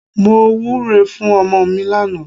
Mo wúre fún ọmọ mi lánàá.